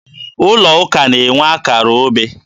Ụlọ ụka na-enwe akara obe.